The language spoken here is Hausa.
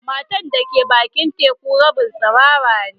Matan da ke bakin teku rabin tsirara ne.